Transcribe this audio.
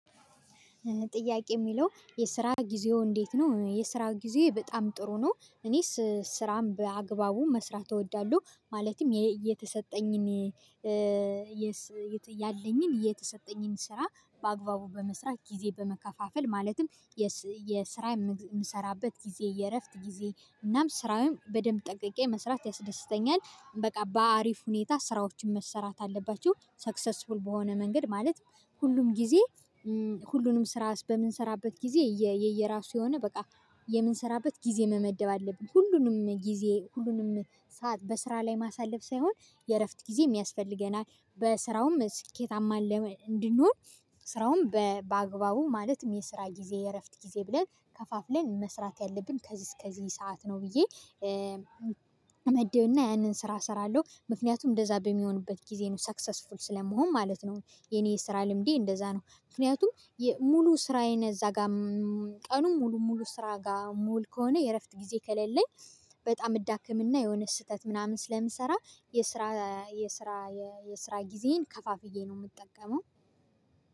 ጥያቄ የሚለው የስራ ጊዜዎ እንዴት ነው የስራ ጊዜ በጣም ጥሩ ነው? እኔ ስራን በአግባቡ መስራት እወዳለሁ ማለትም የተሰጠኝን ያለኝን የተሰጠኝን ስራ በአግባቡ በመስራት ጊዜ በመከፋፈል ማለትም የስራ የምሰራበት ጊዜ የእረፍት ጊዜ እናም ስራውን በደንብ ጠንቅቄ መስራት ያስደስተኛል። በቃ በአሪፍ ሁኔታ ስራዎችን መሰራት አለባቸው ሰክሰስፉል በሆነ መንገድ ማለት ሁሉም ጊዜ ሁሉንም ስራ በምንሰራበት ጊዜ የየራሱ የሆነ በቃ የምንሰራበት ጊዜ መመደብ አለብን። ሁሉንም ጊዜ ሁሉንም ሰዓት በስራ ላይ ማሳለፍ ሳይሆን የእረፍት ጊዜ ያስፈልገናል። በስራውም ስኬታማ እንድንሆን ስራውን በአግባቡ ማለትም የስራ ጊዜ የእረፍት ጊዜ ብለን ከፋፍ ላይ መስራት ያለብን ከዚህ እስከዚህ ሰዓት ነው። ብዬ እመድብና ያንን ስራ እሰራለሁ ምክንያቱም እንደዛ በሚሆንበት ጊዜ ነው ሰክሰስፉል ስለመሆን ማለት ነው። የኔ የስራ ልምዴ እንደዛ ነው። ምክንያቱም ሙሉ ስራዬን እዛ ጋር ቀኑን ሙሉ ሙሉ ስራ ጋር ምዉል ከሆነ የእረፍት ጊዜ ከሌለኝ። በጣም እዳከምና የሆነ ስህተት ምናምን ስለምሰራ የስራ የስራ የስራ ጊዜዬን ከፋፍዬ ነው የምጠቀመው።